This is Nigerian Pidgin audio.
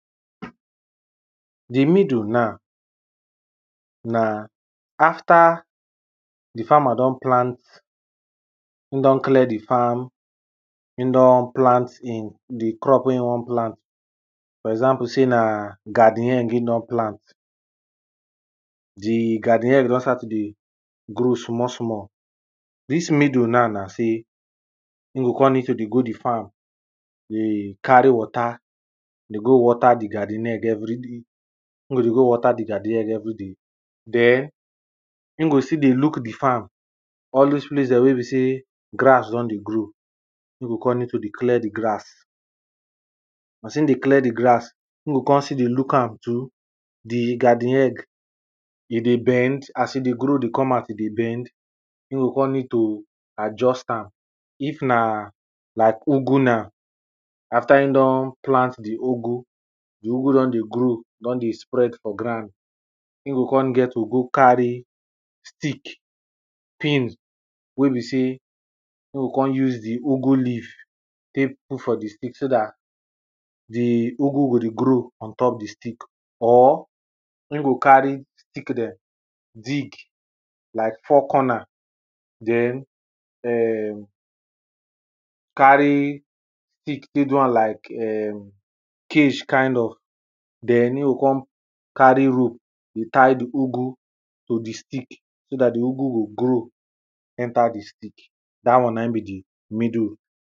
Di middle na, na after di farmer don plant, in don clear di farm, in don plant in the crop wen in won plant. For example, sey na garden egg e don plant, di garden egg don start to dey grow small small. Dis middle now na sey, in go come need to dey go do farm, dey carry water dey go water di garden egg everyday, in go dey go water di garden egg everyday. Den in go still dey look di farm, all dose place dem wey e be sey, grass don dey grow, e go come need to dey clear di grass. As in dey clear di grass, in go come still dey look am to, di garden egg e dey bend, as in dey grow dey come out e dey bend, e go come need too adjust am ,if na like ugu na, after e don plant di ugu, di ugu don dey grow, don dey spread for ground,e go come get to go carry stick pin wey be sey e go come use di ugu leave tek put for di stick so dat di ugu go dey grow on top di stick or e go carry stick dem dig like four corner den em carry stick tek do am like um cage kind of den,e go come carry rope dey tie di ugu to di stick so dat di ugu go grow enter di stick. Dat one na e be di middle.